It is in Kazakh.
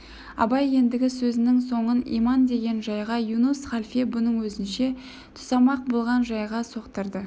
абай ендігі сөзінің соңын иман деген жайға юнус халфе бұны өзінше тұсамақ болған жайға соқтырды